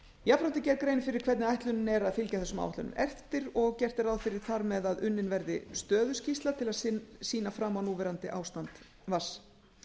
jafnframt er gerð grein fyrir hvernig ætlunin er að fylgja þessum áætlunum eftir og gert er ráð fyrir þar með að unnin verði stöðuskýrsla til að sýna fram á núverandi ástand vatns